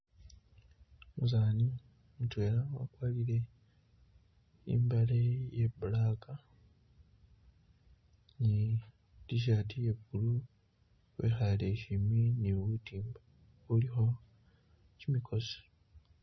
Umusani mudwela wagwarile imbale iye black ni t-shirt iye blue wikhale shimbi ni butimba ubulikho gimigosi.